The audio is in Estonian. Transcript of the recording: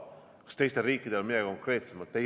Kas teistel riikidel on midagi konkreetsemat?